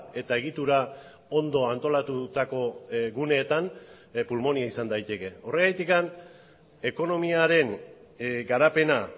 eta egitura ondo antolatutako guneetan pulmonia izan daiteke horregatik ekonomiaren garapena